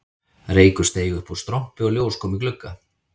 Reykur steig upp úr strompi og ljós kom í glugga